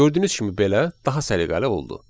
Gördüyünüz kimi belə daha səliqəli oldu.